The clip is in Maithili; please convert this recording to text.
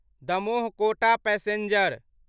दमोह कोटा पैसेंजर